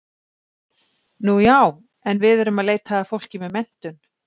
Nú já, en við erum að leita að fólki með menntun.